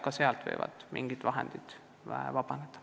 Ka sealt võivad mingid vahendid vabaneda.